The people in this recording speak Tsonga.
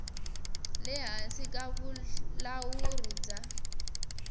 le hansi ka vulawuri bya